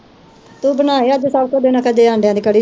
ਤੂੰ ਬਣਾਏ ਅੱਜ ਸਬ ਕੁਜ ਦੇਣਾ ਕਦੇ ਅੰਡੇਆ ਦੀ ਕੜੀ